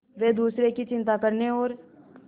वे दूसरों की चिंता करने और